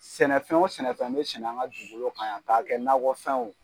Sɛnɛfɛn o sɛnɛfɛn bɛ sɛnɛn an ka dugukolo kan yan k'a kɛ nakɔfɛnw